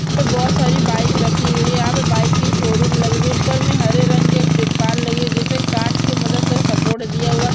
बहुत सारी बाइक रखी गई है। यहा पे बाइक की शोरूम लगी हुइ है। ऊपर मे हरे रंग के तिरपन लगे जिसे काट की मदद से सपोर्ट दिया हुआ है।